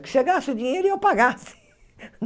Que chegasse o dinheiro e eu pagasse.